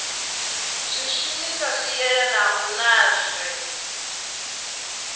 zwishumiswa zwi yelanaho nazwo zwe